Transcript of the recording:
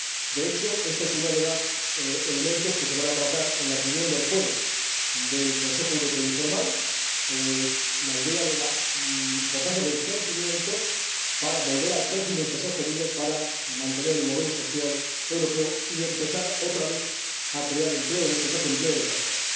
De hecho, este es uno de los elementos que se van a tratar en la reunión del jueves del Consejo Europeo informal la importancia del crecimiento para volver al crecimiento sostenido, para mantener el modelo social europeo y empezar otra vez a crear empleo, en este caso, empleo de calidad.